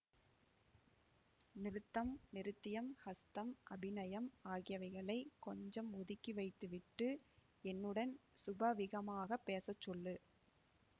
நிருத்தம் நிருத்தியம் ஹஸ்தம் அபிநயம் ஆகியவைகளைக் கொஞ்சம் ஒதுக்கிவைத்து விட்டு என்னுடன் சுபாவிகமாகப் பேச சொல்லு